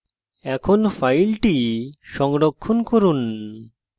এখন file সংরক্ষণ করুন